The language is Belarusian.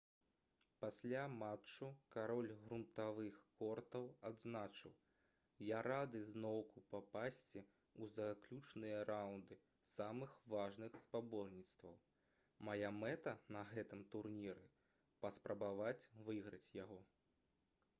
пасля матчу кароль грунтавых кортаў адзначыў: «я рады зноўку папасці ў заключныя раўнды самых важных спаборніцтваў. мая мэта на гэтым турніры — паспрабаваць выйграць яго»